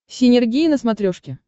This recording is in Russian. синергия на смотрешке